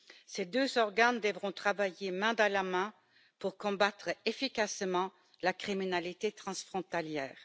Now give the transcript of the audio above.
Ces deux organes devront travailler main dans la main pour combattre efficacement la criminalité transfrontalière.